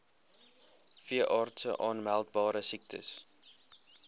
veeartse aanmeldbare siektes